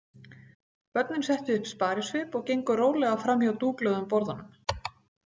Börnin settu upp sparisvip og gengu rólega fram hjá dúklögðum borðunum.